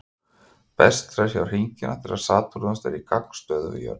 Best er að sjá hringina þegar Satúrnus er í gagnstöðu við jörð.